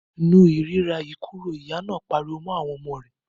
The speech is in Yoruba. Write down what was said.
Nu ìríra yìí kúrò! Ìyá náà pariwo mọ́ àwọn ọmọ rẹ̀.